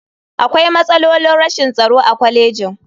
Akwai matsalolin rashin tsaro a kwalejin.